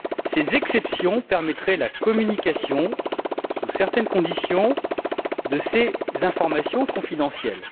Ces exceptions permettraient la communication, sous certaines conditions, de ces informations confidentielles.